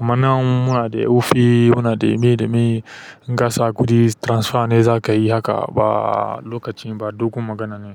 Amma nan muna da wofi, muna da me da me in ka sa kuɗi transfer ne za ka yi haka ba lokacin ba, dugon magana ne.